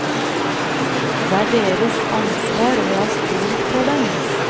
Det er deres ansvar og jeg har stolt på dem.